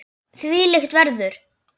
Þvílíkt veður!